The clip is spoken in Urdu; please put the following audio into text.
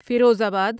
فیروز آباد